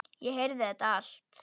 Ég heyrði þetta allt.